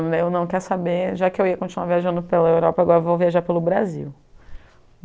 Daí eu não quero saber, já que eu ia continuar viajando pela Europa, agora eu vou viajar pelo Brasil.